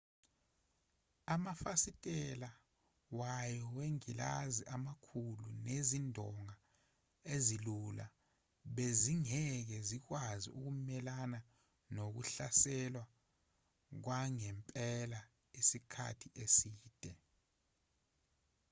amafasitela wayo wengilazi amakhulu nezindonga ezilula bezingeke zikwazi ukumelana nokuhlaselwa kwangempela isikhathi eside